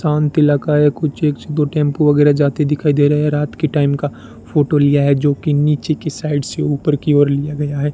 शांत इलाका है कुछ ये एक दो टेंपो वगैरा जाते दिखाई दे रहे हैं रात की टाइम का फोटो लिया है जो कि नीचे की साइड से ऊपर की ओर लिया गया है।